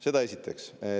Seda esiteks.